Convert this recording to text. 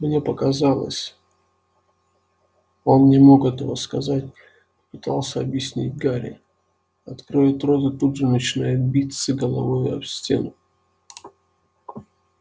мне показалось он не мог этого сказать попытался объяснить гарри откроет рот и тут же начинает биться головой об стену